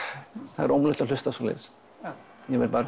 það er ómögulegt að hlusta á svoleiðis ég verð bara